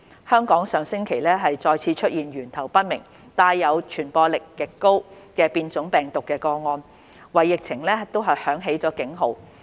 香港上星期再次出現源頭未明、帶有傳播力極高的變種病毒個案，為疫情響起警號。